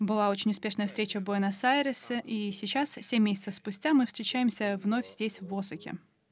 была очень успешная встреча в буэнос-айресе и сейчас семь месяцев спустя мы встречаемся вновь здесь в осаке